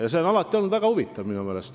See on minu meelest olnud alati väga huvitav saade.